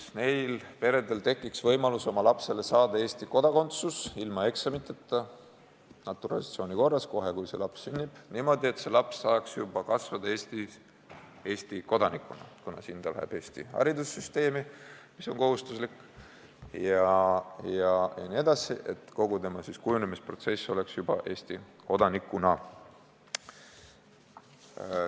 Neil peredel tekiks võimalus saada oma lapsele Eesti kodakondsus naturalisatsiooni korras ilma eksameid tegemata kohe, kui laps sünnib, et laps saaks juba kasvada Eesti kodanikuna – kuna ta läheb siin Eesti haridussüsteemi, mis on kohustuslik jne – ja et kogu tema kujunemisprotsess toimuks Eesti kodanikuna.